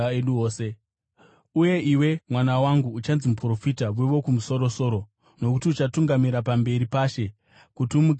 “Uye iwe, mwana wangu, uchanzi muprofita weWokumusoro-soro; nokuti uchatungamira pamberi paShe kuti umugadzirire nzira,